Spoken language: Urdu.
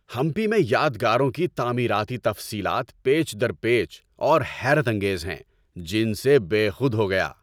ہمپی میں یادگاروں کی تعمیراتی تفصیلات پیچ در پیچ اور حیرت انگیز ہیں، جن سے بے خود ہو گیا۔